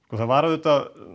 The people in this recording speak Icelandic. það var auðvitað